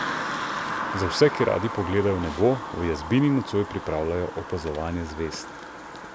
Za vse, ki radi pogledajo v nebo, v Jazbini nocoj pripravljajo opazovanje zvezd.